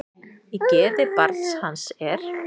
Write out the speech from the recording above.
Í geði barn hans er.